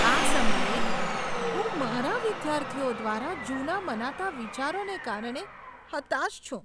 આ સમયે, હું મારા વિદ્યાર્થીઓ દ્વારા જૂના મનાતા વિચારોને કારણે હતાશ છું.